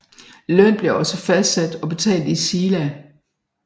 Løn blev også fastsat og betalt i sila